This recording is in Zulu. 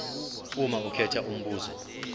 uma ukhetha umbuzo